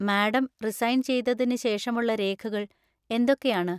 Madam resign‍ ചെയ്തതിന് ശേഷമുള്ള രേഖകൾ എന്തൊക്കെയാണ്?